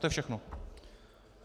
To je všechno.